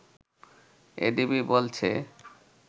ADB বলছে